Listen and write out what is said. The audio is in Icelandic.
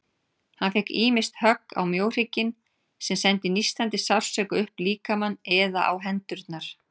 Hann fékk ýmist högg á mjóhrygginn, sem sendi nístandi sársauka upp líkamann, eða á hendurnar.